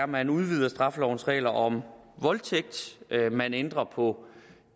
man udvider straffelovens regler om voldtægt at man ændrer på